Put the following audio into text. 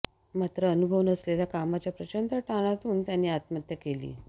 मात्र अनुभव नसलेल्या कामाच्या प्रचंड ताणातून त्यांनी आत्महत्या केली